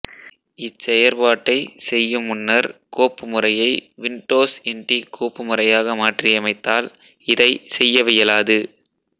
இச்செயற்பாட்டைச் செய்யமுன்னர் கோப்புமுறையை Windows NT கோபுமுறையாக மாற்றியமைத்தால் இதைச் செய்யவியலாது